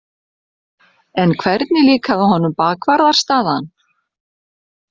En hvernig líkaði honum bakvarðarstaðan?